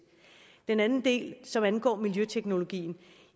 den anden del som angår miljøteknologien